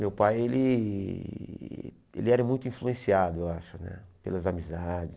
Meu pai ele ele era muito influenciado, eu acho né, pelas amizades.